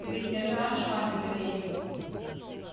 ты ведь не расскажешь маме про деньги